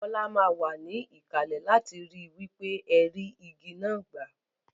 Bola má wa níkàlè láti ri wípé ẹ rí igi náà gbà